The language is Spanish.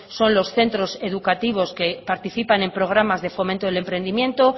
son los centros educativos que participan programas de fomento del emprendimiento